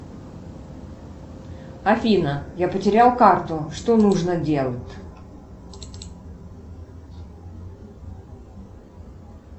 афина я потерял карту что нужно делать